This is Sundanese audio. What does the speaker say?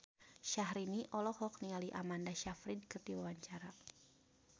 Syahrini olohok ningali Amanda Sayfried keur diwawancara